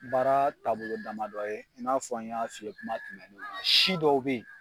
Baara taabolo damadɔ ye i n'a fɔ an y'a fi ye kuma tɛmɛnenw na si dɔw be yen